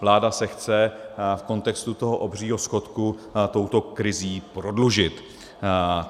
Vláda se chce v kontextu toho obřího schodku touto krizí prodlužit.